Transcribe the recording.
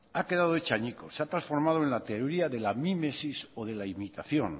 ha quedado hecho añicos se ha transformado en la teoría de la mimesis o de la imitación